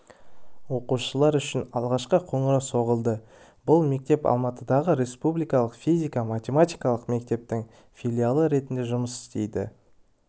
оқушылар үшін алғашқы қоңырау соғылды бұл мектеп алматыдағы республикалық физика-матеметикалық мектептің филиалы ретінде жұмыс істейді